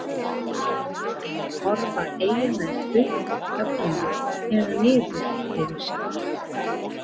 En horfa Eyjamenn upp töfluna eða niður fyrir sig?